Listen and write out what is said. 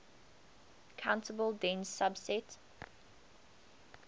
countable dense subset